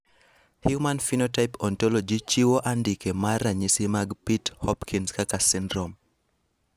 Human Phenotype Ontology chiwo andike mar ranyisi mag Pitt Hopkins kaka syndrome.